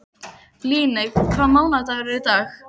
Líneik, hvaða mánaðardagur er í dag?